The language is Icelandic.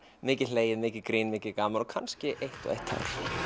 mikið hlegið mikið grín og mikið gaman og kannski eitt og eitt tár